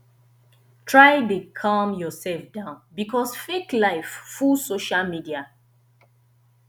try de calm yourself down because fake life full social media